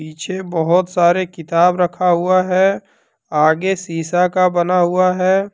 पीछे बहोत सारे किताब रखा हुआ है। आगे सीसा का बना हुआ है।